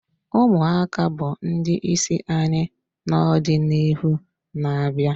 Ụmụaka bụ ndị isi anyị n'ọdịnihu na-abịa